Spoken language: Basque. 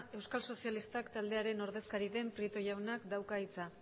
euskal sozialistak taldearen ordezkari den prieto jaunak dauka hitza